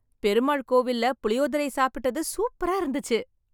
பெருமாள் கோவில்ல புளியோதரை சாப்பிட்டது சூப்பரா இருந்துச்சு.